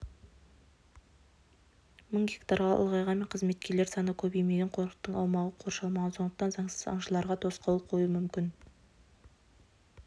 мың гектарға ұлғайғанмен қызметкерлер саны көбеймеген қорықтың аумағы қоршалмаған сондықтан заңсыз аңшыларға тосқауыл қою мүмкін